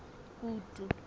kutu